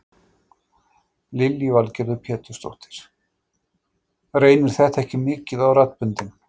Lillý Valgerður Pétursdóttir: Reynir þetta ekki mikið á raddböndin?